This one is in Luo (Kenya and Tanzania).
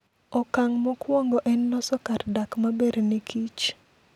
Okang' mokwongo en loso kar dak maber ne kich.